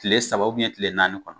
Tile saba tile naani kɔnɔ.